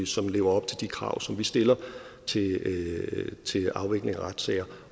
som lever op til de krav som vi stiller til afvikling af retssager